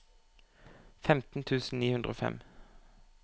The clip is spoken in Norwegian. femten tusen ni hundre og fem